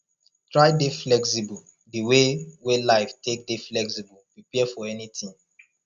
try dey flexible di wey wey life take dey flexible prepare for anything